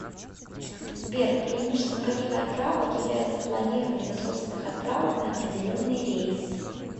сбер преимуществом каких отправок является планирование собственных отправок на определенный рейс